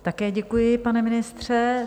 Také děkuji, pane ministře.